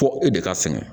Fo e de ka sɛgɛn